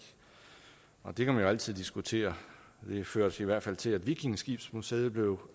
og det kan man jo altid diskutere det førte i hvert fald til at vikingeskibsmuseet blev